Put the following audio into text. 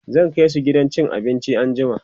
zan kaisu gidan cin abinci anjima